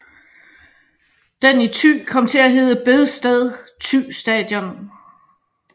Den i Thy kom til at hedde Bedsted Thy Station